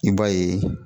I b'a ye